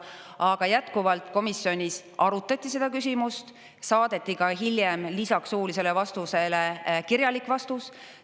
Aga jätkuvalt, komisjonis arutati seda küsimust, saadeti ka hiljem lisaks suulisele vastusele kirjalik vastus.